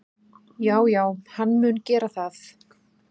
Já já, hann mun gera það.